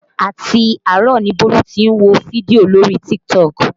Àti àárọ̀ ni Bólú tí ń wo fídíò lórí TikTok